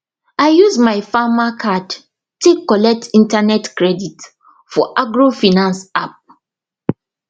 i use my farmer card take collect internet credit for agrofinance app